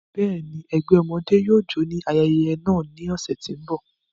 Bẹ́ẹ̀ni, ẹgbẹ ọmọde yóò jó ni ayẹyẹ naa ni ọsẹ ti n bọ.